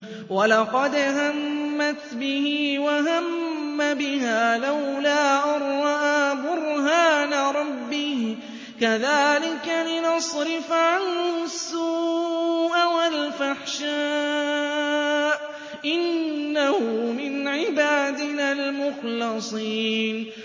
وَلَقَدْ هَمَّتْ بِهِ ۖ وَهَمَّ بِهَا لَوْلَا أَن رَّأَىٰ بُرْهَانَ رَبِّهِ ۚ كَذَٰلِكَ لِنَصْرِفَ عَنْهُ السُّوءَ وَالْفَحْشَاءَ ۚ إِنَّهُ مِنْ عِبَادِنَا الْمُخْلَصِينَ